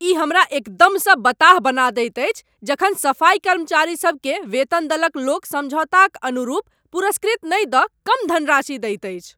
ई हमरा एकदमसँ बताह बना दैत अछि जखन सफाइ कर्मचारी सबकेँ वेतन दलक लोक समझौताक अनुरूप पुरस्कृत नहि दऽ कम धनराशि दैत अछि।